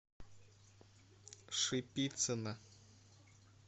шипицына